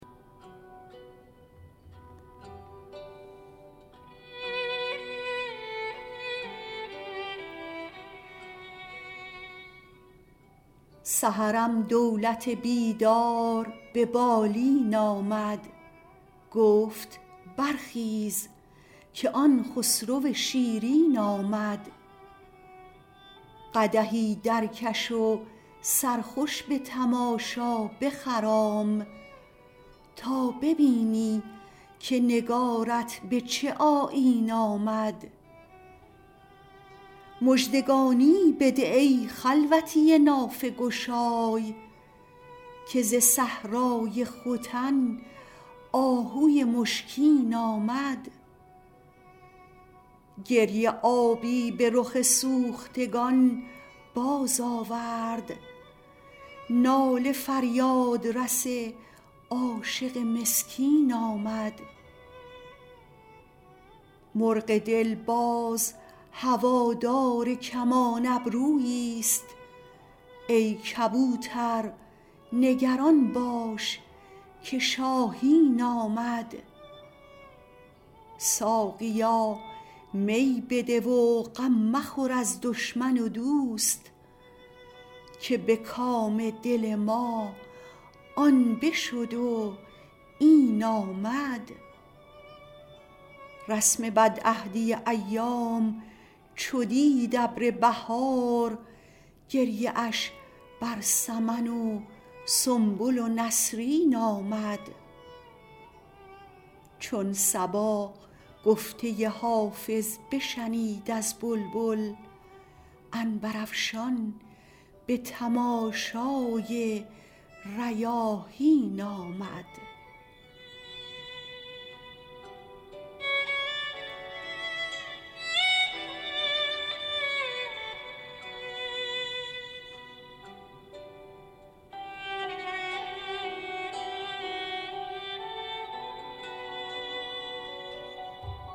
سحرم دولت بیدار به بالین آمد گفت برخیز که آن خسرو شیرین آمد قدحی درکش و سرخوش به تماشا بخرام تا ببینی که نگارت به چه آیین آمد مژدگانی بده ای خلوتی نافه گشای که ز صحرای ختن آهوی مشکین آمد گریه آبی به رخ سوختگان بازآورد ناله فریادرس عاشق مسکین آمد مرغ دل باز هوادار کمان ابروییست ای کبوتر نگران باش که شاهین آمد ساقیا می بده و غم مخور از دشمن و دوست که به کام دل ما آن بشد و این آمد رسم بدعهدی ایام چو دید ابر بهار گریه اش بر سمن و سنبل و نسرین آمد چون صبا گفته حافظ بشنید از بلبل عنبرافشان به تماشای ریاحین آمد